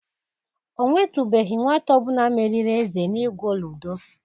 Ọ nwetubeghi nwata ọ bụla meriri Eze n'igwo ludo.